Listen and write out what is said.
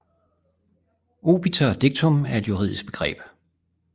Obiter dictum er et juridisk begreb